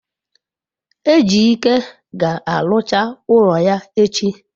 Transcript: ejike ga-arucha ulo ya echi